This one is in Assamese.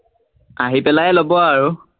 আহি পেলাই লব আৰু।